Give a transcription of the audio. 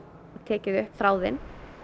og tekið upp þráðinn